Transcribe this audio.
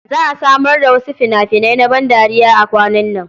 Za a samar da wasu fina-finai na bandariya kwanan nan.